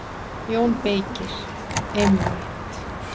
JÓN BEYKIR: Einmitt!